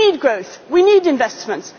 it. We need jobs. We need growth.